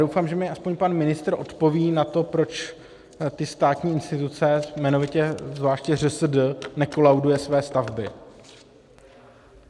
Doufám, že mi alespoň pan ministr odpoví na to, proč ty státní instituce, jmenovitě zvláště ŘSD, nekolaudují své stavby.